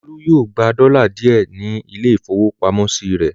Olú yóò gba dọ́là díẹ̀ ní ilé-ìfowópamọ́sí rẹ̀.